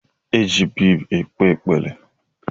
E ji biid ekpe ekpere.